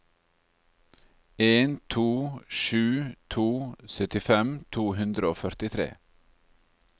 en to sju to syttifem to hundre og førtitre